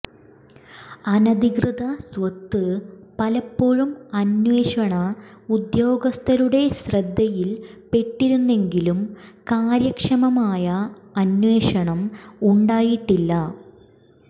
അനധികൃത സ്വത്ത് പലപ്പോഴും അന്വേഷണ ഉദ്യോഗസ്ഥരുടെ ശ്രദ്ധയിൽപ്പെട്ടിരുന്നെങ്കിലും കാര്യക്ഷമമായ അന്വേഷണം ഉണ്ടായിട്ടില്ല